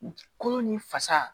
Kolo ni fasa